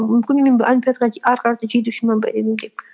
мүмкін мен олимпиадаға ары қарата жетуші ме едім деп